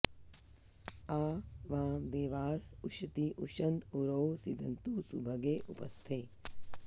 आ वां देवास उशती उशन्त उरौ सीदन्तु सुभगे उपस्थे